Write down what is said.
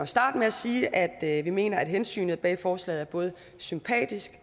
starte med at sige at at vi mener at hensynet bag forslaget er både sympatisk